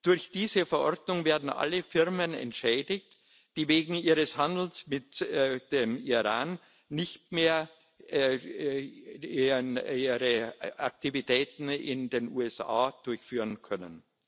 Durch diese Verordnung werden alle Firmen entschädigt, die wegen ihres Handels mit dem Iran ihre Aktivitäten in den USA nicht mehr durchführen können.